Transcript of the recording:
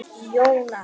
Jóna